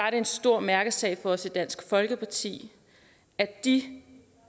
er en stor mærkesag for os i dansk folkeparti at de